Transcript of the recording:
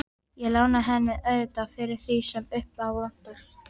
Ég lána henni auðvitað fyrir því sem upp á vantar.